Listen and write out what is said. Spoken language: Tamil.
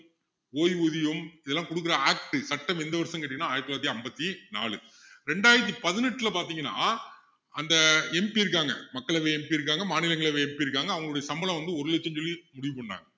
ஓய்வூதியம் இதெல்லாம் குடுக்குற act சட்டம் எந்த வருஷம்னு கேட்டீங்கன்னா ஆயிரத்து தொள்ளாயிரத்து ஐம்பத்தி நாலு ரெண்டாயிரத்து பதினெட்டுல பாத்திங்கன்னா அந்த MP இருக்காங்க மக்களவை MP இருக்காங்க மாநிலங்களவை MP இருக்காங்க அவங்களுடைய சம்பளம் வந்து ஒரு இலட்சம்னு சொல்லி முடிவு பண்ணாங்க